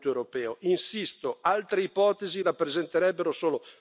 Sono le due opzioni sulle quali attestare il Parlamento europeo.